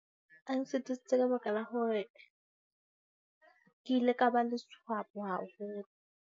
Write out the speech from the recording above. A nsetisitse ka baka la hore ke ile ka ba le swap haholo.